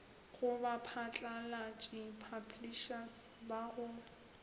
go baphatlalatši publishers ba go